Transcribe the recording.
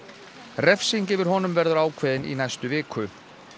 refsing yfir honum verður ákveðin í næstu viku